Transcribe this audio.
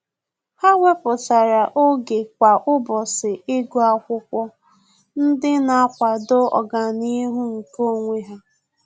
Há wépụ́tara oge kwa ụ́bọ̀chị̀ ígụ́ ákwụ́kwọ́ ndị nà-àkwàdò ọ́gànihu nke onwe ha.